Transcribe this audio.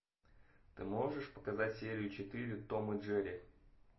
ты можешь показать серию четыре том и джерри